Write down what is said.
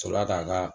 Sɔrɔla k'an ka